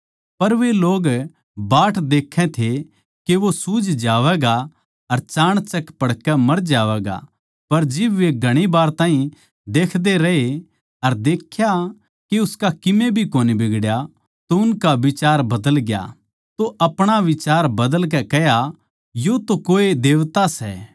पर वे लोग बाट देखै थे के वो सूज जावैगा या चाणचक पड़कै मर जावैगा पर जिब वे घणी वार ताहीं देखदे रहे अर देख्या के उसका कीमे भी कोनी बिगड़या तो अपणा बिचार बदलकै कह्या यो तो कोए देवता सै